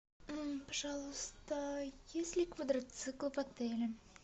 пожалуйста есть ли квадроциклы в отеле